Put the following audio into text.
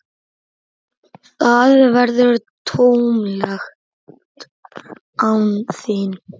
Það verður tómlegt án þín.